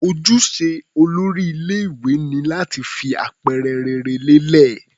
Ojúṣe olórí ilé-ìwé ni láti fi àpẹẹrẹ rere lélẹ̀.